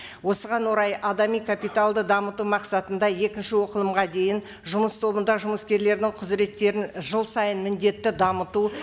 осыған орай адами капиталды дамыту мақсатында екінші оқылымға дейін жұмыс тобында жұмыскерлердің құзыреттерін жыл сайын міндетті дамыту